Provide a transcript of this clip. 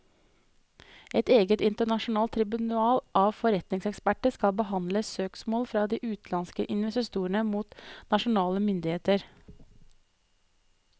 Et eget internasjonalt tribunal av forretningseksperter skal behandle søksmål fra de utenlandske investorene mot nasjonale myndigheter.